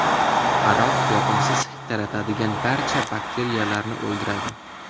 Aroq yoqimsiz hid taratadigan barcha bakteriyalarni o‘ldiradi.